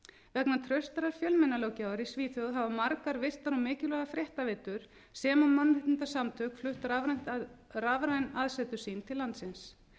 vegna traustrar fjölmiðlalöggjafar í svíþjóð hafa margar virtar og mikilvægar fréttaveitur sem og mannréttindasamtök flutt rafræn aðsetur sín til landsins